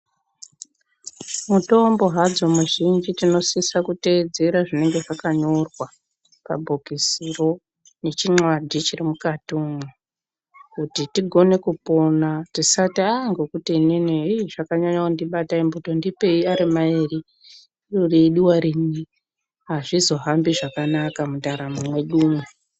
Mutombo hadzo mizhinji tinosise kuteedzera zvinenge zvakanyora pabhokisiro nechinxlwadhi chiri mukati umwo kuti tigone kupone tisati aah ngokuti inini ii zvakanyanye kundibata imbotondipeyi arimairi iro reidiwa rimwe hazvizohambi zvakanaka mundaramo mwedumwo.